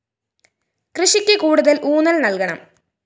കൃഷിക്ക് കൂടുതല്‍ ഊന്നല്‍ നല്‍കണം